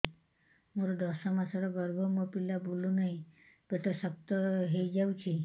ମୋର ଦଶ ମାସର ଗର୍ଭ ମୋ ପିଲା ବୁଲୁ ନାହିଁ ପେଟ ଶକ୍ତ ହେଇଯାଉଛି